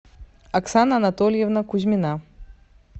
оксана анатольевна кузьмина